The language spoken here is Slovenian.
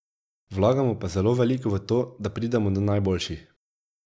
Vlagamo pa zelo veliko v to, da pridemo do najboljših.